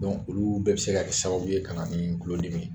olu bɛɛ bɛ se ka kɛ sababu ye ka na ni kulodimi ye.